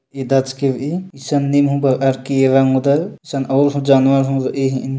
ईदाच के रई इसन निम हुंम बार अर की य मुदल संग और हों जानवर रई --